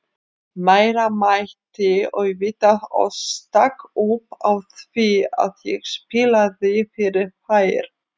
María mætti auðvitað og stakk upp á því að ég spilaði fyrir þær.